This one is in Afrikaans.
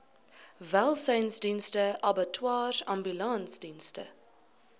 welsynsdienste abattoirs ambulansdienste